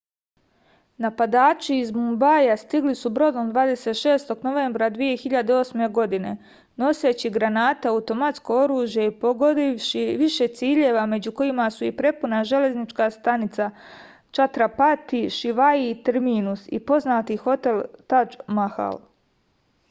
napadači iz mumbaja stigli su brodom 26. novembra 2008. godine noseći granate automatsko oružje i pogodivši više ciljeva među kojima su i prepuna železnička stanica čatrapati šivaji terminus i poznati hotel tadž mahal